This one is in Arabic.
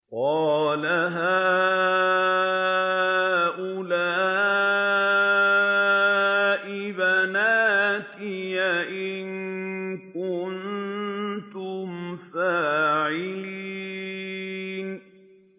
قَالَ هَٰؤُلَاءِ بَنَاتِي إِن كُنتُمْ فَاعِلِينَ